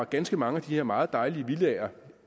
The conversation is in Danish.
ganske mange af de her meget dejlige villaer